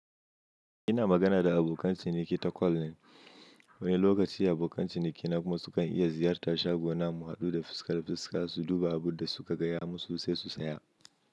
Ina magana da abokan ciniki ta call ne, wani lokaci abokan ciniki na kuma sukan iya ziyartar shagona mu haɗu da fuska da fuska su duba abunda suka gaya musu sai su saya.